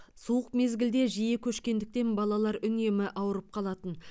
суық мезгілде жиі көшкендіктен балалар үнемі ауырып қалатын